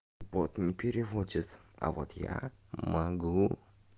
вот не переводит а вот я могу